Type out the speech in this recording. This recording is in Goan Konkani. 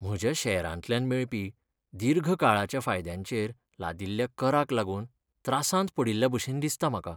म्हज्या शॅरांतल्यान मेळपी दीर्घ काळाच्या फायद्यांचेर लादिल्ल्या कराक लागून त्रासांत पडिल्ल्याभशेन दिसता म्हाका.